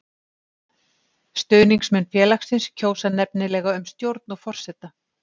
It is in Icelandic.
Stuðningsmenn félagsins kjósa nefnilega um stjórn og forseta.